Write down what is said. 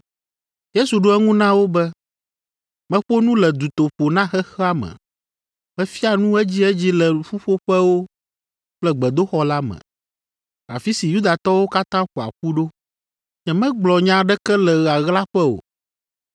Yesu ɖo eŋu na wo be, “Meƒo nu le dutoƒo na xexea me. Mefia nu edziedzi le ƒuƒoƒewo kple gbedoxɔ la me, afi si Yudatɔwo katã ƒoa ƒu ɖo. Nyemegblɔ nya aɖeke le ɣaɣlaƒe o.